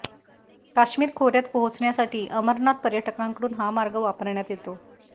काश्मीर खोऱ्यात पोहचण्यासाठी अमरनाथ पर्यटकांकडून हा मार्ग वापरण्यात येतो